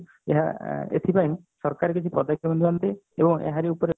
ଏହା ଏଥିପାଇଁ ସରକାର କିଛି ପଦକ୍ଷେପ ନିଅନ୍ତେ ତେବେ ଏବଂ ଏହାରି ଉପରେ